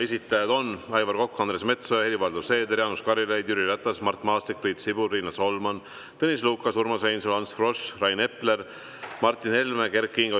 Esitajad on Aivar Kokk, Andres Metsoja, Helir-Valdor Seeder, Jaanus Karilaid, Jüri Ratas, Mart Maastik, Priit Sibul, Riina Solman, Tõnis Lukas, Urmas Reinsalu, Ants Frosch, Rain Epler, Martin Helme ja Kert Kingo.